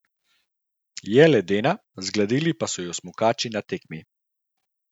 Je ledena, zgladili pa so jo smukači na tekmi.